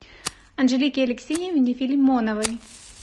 анжелике алексеевне филимоновой